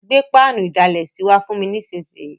Gbé pánù ìdalẹ̀sí wa fùn mi nísinsìn yi